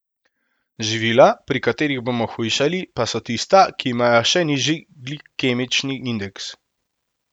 Živila, pri katerih bomo hujšali, pa so tista, ki imajo še nižji glikemični indeks.